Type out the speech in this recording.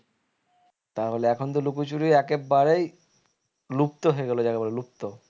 তা হলে এখন তো লুকোচুরি একেবারেই লুপ্ত হয়ে গেলো যাকে বলে লুপ্ত